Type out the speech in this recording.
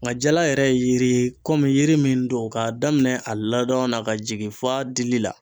Nga jala yɛrɛ ye yiri ye, yiri mun don ka daminɛ a ladon na ka jigin fo dili la